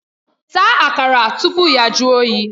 Taa Akara tupu ya jụọ oyi!